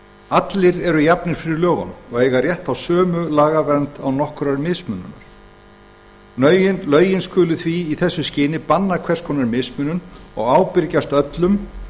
allir eru jafnir fyrir lögunum og eiga rétt á sömu lagavernd án nokkurrar mismununar lögin skulu því í þessu skyni banna hvers konar mismunun og ábyrgjast öllum